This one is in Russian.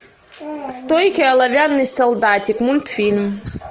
стойкий оловянный солдатик мультфильм